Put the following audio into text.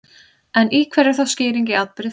En í hverju er þá skýring á atburði fólgin?